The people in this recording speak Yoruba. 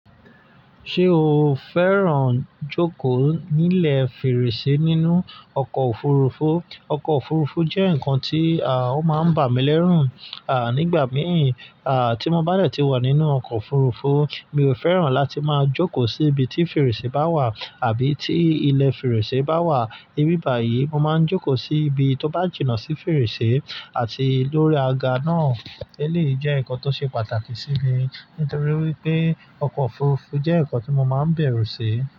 Ṣé o fẹ́ràn jókòó nílẹ̀ fèrèsé nínú ọkọ̀ òfurufú? Ọkọ̀ òfurufú jẹ́ nǹkan tí, à, ó máa ń bà mí lẹ́rù, à, nígbà mìí, à, tí mo bá dẹ̀ tí wà nínú ọkọ̀ òfurufú, mi ò fẹ́ràn láti máa jókòó sí ibi tí fèrèsé bá wà àbí tí ilẹ̀ fèrèsé bá wà. Níbi báyìí, mo máa ń jókòó sí ibi tó bá jìnnà sí fèrèsé àti lórí aga náà. Eléyìí jẹ́ nǹkan tó ṣe pàtàkì sí mi nítorí wípé ọkọ̀ òfurufú jẹ́ ǹkan tí mo máa ń bẹ̀rù sí.